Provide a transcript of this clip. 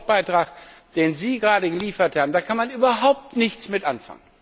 Mit dem Wortbeitrag, den Sie gerade geliefert haben, kann man überhaupt nichts anfangen.